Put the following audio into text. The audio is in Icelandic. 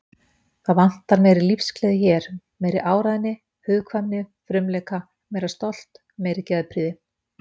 Það vantar meiri lífsgleði hér, meiri áræðni, hugkvæmni, frumleika, meira stolt, meiri geðprýði.